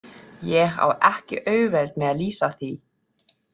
Ég á ekki auðvelt með að lýsa því.